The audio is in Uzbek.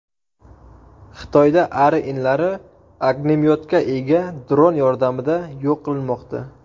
Xitoyda ari inlari ognemyotga ega dron yordamida yo‘q qilinmoqda .